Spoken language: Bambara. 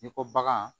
N'i ko bagan